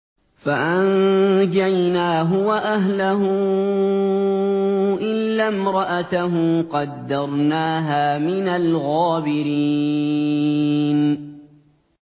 فَأَنجَيْنَاهُ وَأَهْلَهُ إِلَّا امْرَأَتَهُ قَدَّرْنَاهَا مِنَ الْغَابِرِينَ